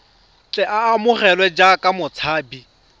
tle a amogelwe jaaka motshabi